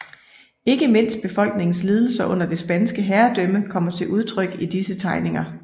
Ikke mindst befolkningens lidelser under det spanske herredømme kommer til udtryk i disse tegninger